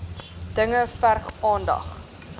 dinge verg aandag